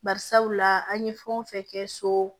Bari sabula an ye fɛn o fɛn kɛ so